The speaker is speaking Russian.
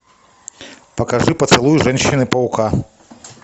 покажи поцелуй женщины паука